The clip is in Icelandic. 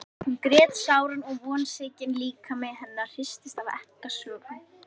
Hún grét sáran og vonsvikinn líkami hennar hristist af ekkasogum.